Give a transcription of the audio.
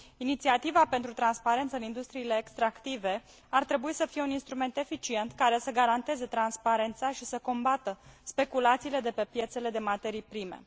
Inițiativa pentru transparență în industriile extractive ar trebui să fie un instrument eficient, care să garanteze transparența și să combată speculațiile de pe piețele de materii prime.